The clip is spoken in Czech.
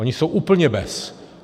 Oni jsou úplně bez.